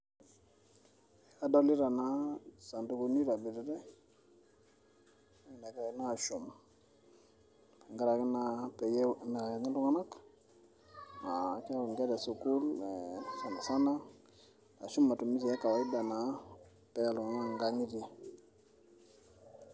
kadolita naa isandukuni oitobiritay negiray naa aashum tenkaraki naa pee emirakini iltung'anak aa keeku inkera e sukuul sanisana ashu matumizi e kawaida naa peeya iltung'anak inkang'itie.